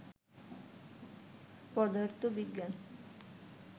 পদার্থবিজ্ঞান